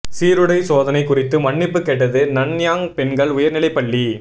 சீருடை சோதனை குறித்து மன்னிப்பு கேட்டது நன்யாங் பெண்கள் உயர்நிலைப் பள்ளி